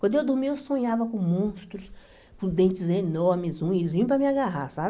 Quando eu dormia, eu sonhava com monstros, com dentes enormes, unhas, vinham para me agarrar, sabe?